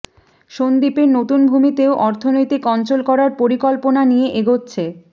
সন্দ্বীপের নতুন ভূমিতেও অর্থনৈতিক অঞ্চল করার পরিকল্পনা নিয়ে এগোচ্ছে